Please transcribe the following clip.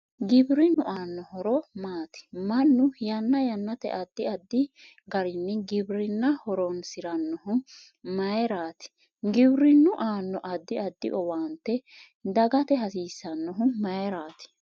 Giwirinnu aano horo maati mannu yanna yannate addi addi garinni giwirinna horoonsirannohu mayiiraati giwirinnu aano addi addi owaante dagate hasiisanohu mayiirati